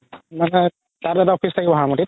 তাত এটা office থাকিব